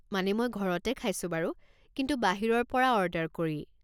মানে মই ঘৰতে খাইছো বাৰু, কিন্তু বাহিৰৰ পৰা অ'ৰ্ডাৰ কৰি।